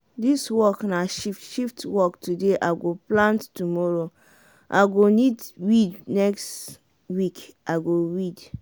dis work na shift shift work today i go plant tomoro i go weed next week i go weed.